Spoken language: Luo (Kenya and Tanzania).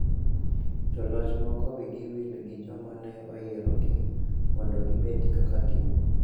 Joloch moko wigi wil gi joma ne oyierogi mondo gibed kaka gin.